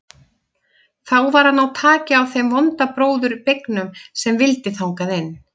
Þá var að ná taki á þeim vonda bróður beygnum sem vildi þangað inn.